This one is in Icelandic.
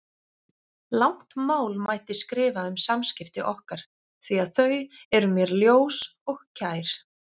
Langt mál mætti skrifa um samskipti okkar því að þau eru mér ljós og kær.